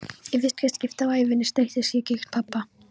Í fyrsta skipti á ævinni streittist ég gegn pabba.